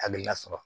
Akililasɔrɔ